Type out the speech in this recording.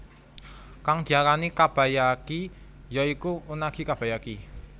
Kang diarani kabayaki ya iku unagi kabayaki